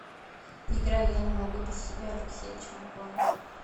играй я не могу без тебя алексея чумакова